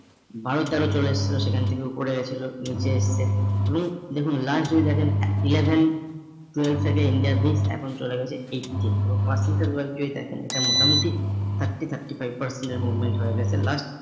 বারো তেরো চলে এসেছিল সেখান থেকে উপরে গেছিল নিচে এসছে এবং দেখুন last যদি দেখেন eleven, twelve থেকে India bridge এখন চলে গেছে eighty এবং percentage well যদি দেখেন এটা মোটামুটি thirty, thirty five percent এর movement হয়ে গেছে last